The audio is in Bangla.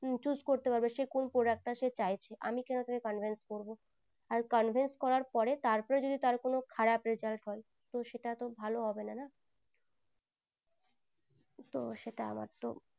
choose করতে পারবে সে কোন product টা সে চাইছে আমি কোনো তাকে convince করবো আর convince করার পরে তারপরে যদি তার কোনো খারাপ result হয় তো সেটা তো ভালো হবে না না